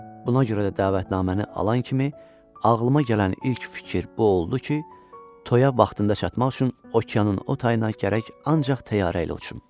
Buna görə də dəvətnaməni alan kimi ağlıma gələn ilk fikir bu oldu ki, toya vaxtında çatmaq üçün okeanın o tayına gərək ancaq təyyarə ilə uçum.